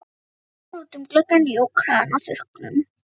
Hann starði út um gluggann, jók hraðann á þurrkunum.